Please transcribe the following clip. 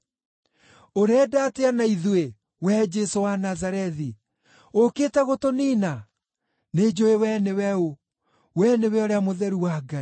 “Ũrenda atĩa na ithuĩ, wee Jesũ wa Nazarethi? Ũũkĩte gũtũniina? Nĩnjũũĩ wee nĩwe ũ! Wee nĩwe Ũrĩa-Mũtheru-wa-Ngai.”